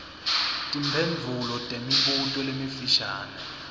timphendvulo temibuto lemifishane